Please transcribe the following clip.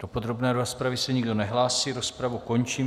Do podrobné rozpravy se nikdo nehlásí, rozpravu končím.